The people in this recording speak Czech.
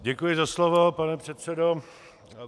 Děkuji za slovo, pane předsedo.